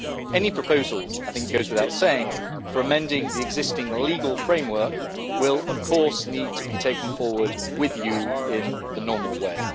Any proposals I think it goes without saying for amending the existing legal framework will of course need to be taken forward with you in the normal way.